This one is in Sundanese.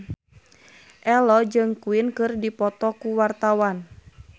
Ello jeung Queen keur dipoto ku wartawan